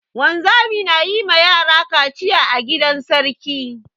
Wanzami na yi ma yara kaciya a gidan sarki.